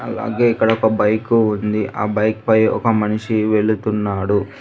అలాగే ఇక్కడ ఒక బైకు ఉంది ఆ బైక్ పై ఒక మనిషి వెళ్తున్నాడు.